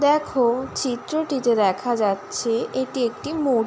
দেখ-ও চিত্রটিতে দেখা যাচ্ছে এটি একটি মূর--